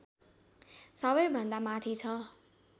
सबैभन्दा माथि छ